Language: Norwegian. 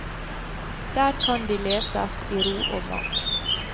Der kan de leses i ro og mak.